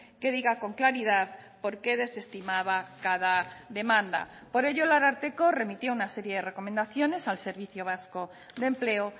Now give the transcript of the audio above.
que diga con claridad porque desestimaba cada demanda por ello el ararteko remitió una serie de recomendaciones al servicio vasco de empleo